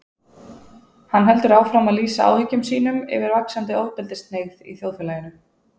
Hann heldur áfram að lýsa áhyggjum sínum yfir vaxandi ofbeldishneigð í þjóðfélaginu.